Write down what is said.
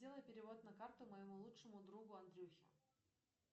сделай перевод на карту моему лучшему другу андрюхе